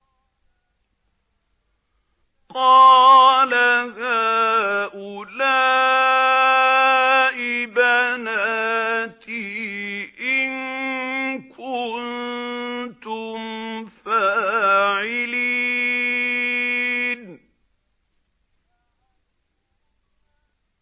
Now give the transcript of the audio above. قَالَ هَٰؤُلَاءِ بَنَاتِي إِن كُنتُمْ فَاعِلِينَ